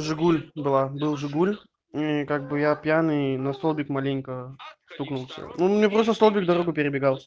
жигуль была был жигуль и как бы я пьяный на столбик маленько стукнулся мне просто столбик дорогу перебегал